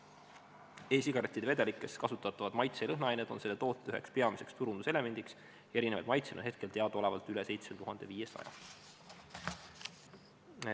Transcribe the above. E-sigarettide vedelikes kasutatavad maitse- ja lõhnaained on selle toote üheks peamiseks turunduselemendiks ja erinevaid maitseid on hetkel teadaolevalt üle 7500.